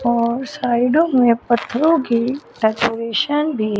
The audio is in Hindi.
और साइडों में पत्थरों की डेकोरेशन भी--